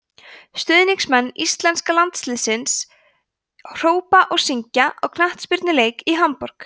stuðningsmenn íslenska landsliðsins hrópa og syngja á knattspyrnuleik í hamborg